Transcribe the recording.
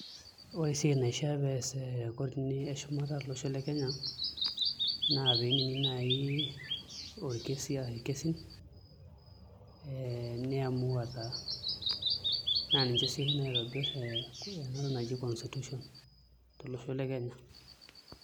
Ore esiai naifaa pee ees kotini eshumata tolosho le Kenya naa piinining' naai orkesi ash irkesin ee niamua taa, naa ninche sii oshi naitobirr ee enatoki naji constitution tolosho le Kenya.